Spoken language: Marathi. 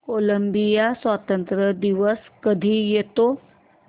कोलंबिया स्वातंत्र्य दिवस कधी येतो